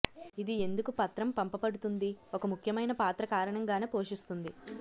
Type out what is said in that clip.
ఇది ఎందుకు పత్రం పంపబడుతుంది ఒక ముఖ్యమైన పాత్ర కారణంగానే పోషిస్తుంది